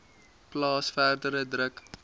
plaas verdere druk